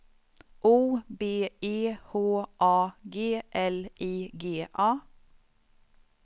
O B E H A G L I G A